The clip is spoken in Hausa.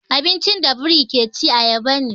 Abincin da biri ke ci ayaba ne.